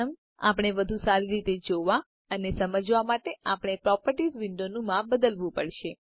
પ્રથમ આપણે વધુ સારી રીતે જોવા અને સમજવા માટે આપણે પ્રોપર્ટીઝ વિન્ડોનોનું માપ બદલવું પડશે